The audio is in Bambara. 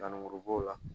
Nanmuru b'o la